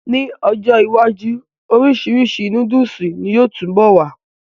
N ọjọ́ iwájú, orisirisi nóódùsì ni yóò túbọ̀ wà